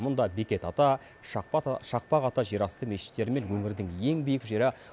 мұнда бекет ата шақпақ ата жерасты мешіттері мен өңірдің ең биік жері